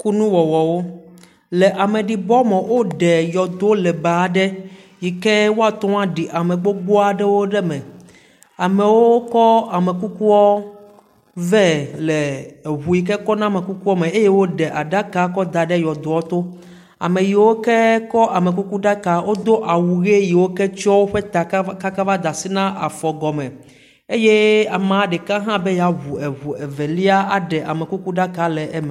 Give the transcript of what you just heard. Kunuwɔwɔwo; Le ame ɖibɔme, woɖe yɔdo lebe aɖe yike woateŋu adi ame gbogboa aɖewo ɖe eme. Amewo kɔ amekukuawo vɛ le eŋu yike kɔ na amekukua me eye wo ɖe aɖaka kɔ da ɖe yɔdoa to. Ame yiwo ke kɔ amekukuɖaka wodo awu ʋi yeo ke tsɔ woƒe ta katã ka kaka va da asi na woƒe afɔ gɔme eye ame ɖeka be ya ŋu eŋu evelia aɖe amekuku ɖaka le eme.